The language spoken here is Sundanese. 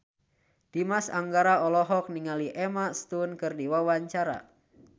Dimas Anggara olohok ningali Emma Stone keur diwawancara